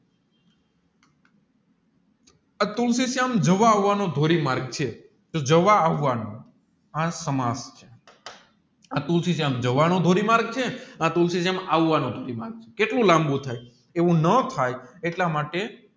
જવા આવાનું ધોરી માર્ગ છે તોહ જવા આવવાનું આ સમાજ જવાનું ધોરી માર્ગ છે આવવાનું કેવું લંબુ થાય એવું ન થાય એટલા માટે